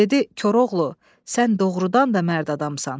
Dedi Koroğlu, sən doğurdan da mərd adamsan.